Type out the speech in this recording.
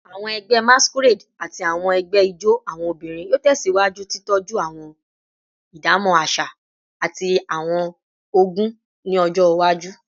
Awọn ẹgbẹ Masquerade ati awọn ẹgbẹ ijó awọn obinrin yoo tẹsiwaju titọju awọn idamọ aṣa ati awọn ogún ni ọjọ iwaju